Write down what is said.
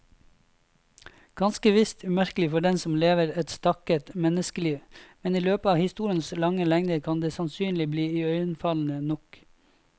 Ganske visst umerkelig for den som lever et stakket menneskeliv, men i løpet av historiens lange lengder kan det sannelig bli iøynefallende nok.